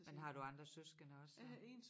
Men har du andre søskende også så?